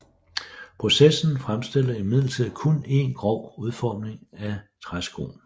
Processen fremstillede imidlertid kun en grov udformning af træskoen